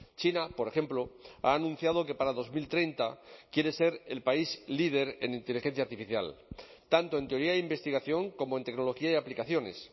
china por ejemplo ha anunciado que para dos mil treinta quiere ser el país líder en inteligencia artificial tanto en teoría de investigación como en tecnología y aplicaciones